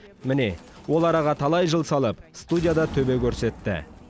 міне ол араға талай жыл салып студияда төбе көрсетті